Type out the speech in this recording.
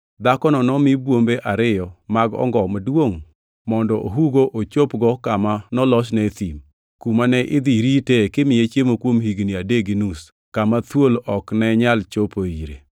Dhakono nomi bwombe ariyo mag ongo maduongʼ mondo ohugo ochopgo kama nolosne e thim, kuma ne idhi ritee kimiye chiemo kuom higni adek gi nus kama thuol ok ne nyal chopoe ire.